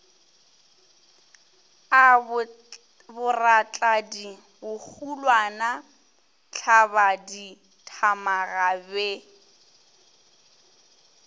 a boratladi bohulwana thlabadithamaga be